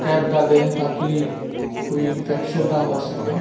Cap डाले हुए हैं ताकि कोई इंफेक्शन ना हो सके।